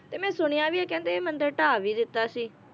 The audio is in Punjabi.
ਤੇ ਮੈ ਸੁਣਿਆ ਵੀ ਹੈ ਕਹਿੰਦੇ ਮੰਦਿਰ ਢਾਹ ਵੀ ਦਿੱਤਾ ਸੀ